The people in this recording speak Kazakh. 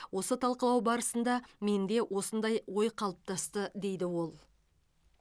осы талқылау барысында менде осындай ой қалыптасты дейді ол